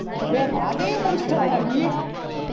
ஏ அதையும் முடிச்சிட்டாளாடி